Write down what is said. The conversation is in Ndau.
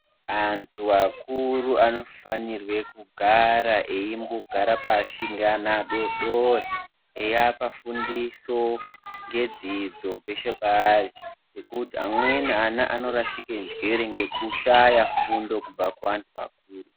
Andu akuru anofanirwe kugara eyimbogara pashi ngeana adodori eyiapa fundiso ngedzidzo peshe paari ngekuti amweni ana anorashike njiere ngekushaya fundo kubva kuvandu vakuru.